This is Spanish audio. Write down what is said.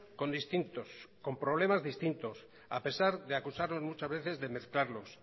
con distintos con problemas distintos a pesar de acusarnos muchas veces de mezclarlo